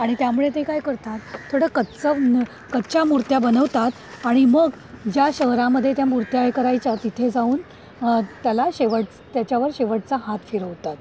आणि त्यामुळे ते काय करतात थोडं कच्चं कच्च्या मूर्त्या बनवतात आणि मग ज्या शहरामध्ये त्या मूर्त्या हे करायच्या तिथे जाऊन अं त्याला शेवट त्याच्यावर शेवटचा हात फिरवतात.